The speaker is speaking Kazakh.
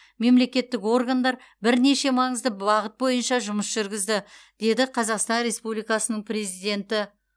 мемлекеттік органдар бірнеше маңызды бағыт бойынша жұмыс жүргізді деді қазақстан республикасының президенті